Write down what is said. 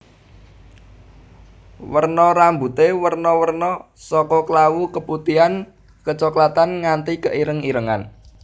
Warna rambuté werna werna saka klawu keputihan kecoklatan nganti keireng irengan